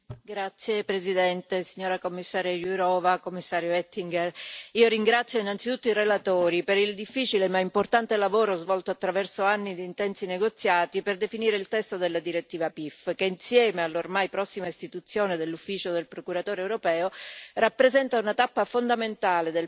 Signora Presidente, onorevoli colleghi, signora commissaria Jourová, signor commissario Oettinger, io ringrazio innanzitutto i relatori per il difficile ma importante lavoro svolto attraverso anni di intensi negoziati per definire il testo della direttiva PIF che, insieme all'ormai prossima istituzione della Procura europea,